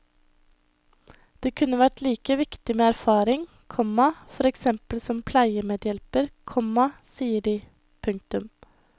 Det kunne vært like viktig med erfaring, komma for eksempel som pleiemedhjelper, komma sier de. punktum